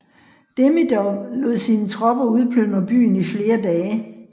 Demidov lod sine tropper udplyndre byen i flere dage